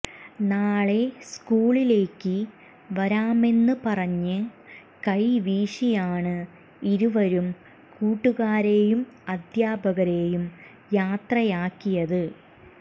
നാളെ സ്കൂളിലേക്ക് വരാമെന്ന് പറഞ്ഞ് കൈവീശിയാണ് ഇരുവരും കൂട്ടുകാരെയും അധ്യാപകരെയും യാത്രയാക്കിയത്